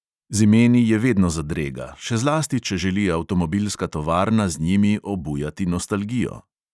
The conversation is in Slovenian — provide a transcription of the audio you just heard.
Z imeni je vedno zadrega, še zlasti če želi avtomobilska tovarna z njimi obujati nostalgijo.